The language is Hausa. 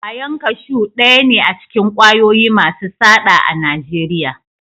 Kwayan kashu daya ne acikin kwayoyi Masu saɗa a nageriya